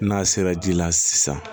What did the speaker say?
N'a sera ji la sisan